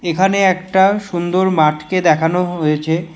এখানে একটা সুন্দর মাঠকে দেখানো হয়েছে।